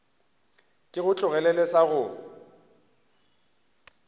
ke go tlogelele sa go